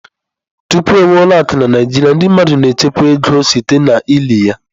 Tupu e nwee ụlọ akụ na Naịjirịa, ndị mmadụ na-echekwa ego site n'ili ya.